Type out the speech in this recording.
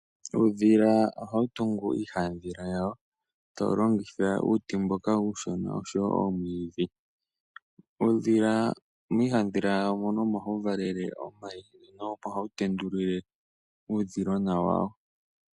Uudhila oha wu tungu iihaandhila yawo ta wu longitha uuti mboka uushona osho woo omwiidhi. Uudhila miihaandhila yawo moka omo ha wu valele omayi mo omo ha wu tendulile uudhilona wawo.